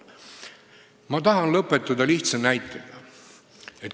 Ma tahan lõpetada lihtsa näitega.